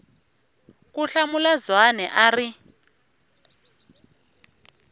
ku hlamula zwane a ri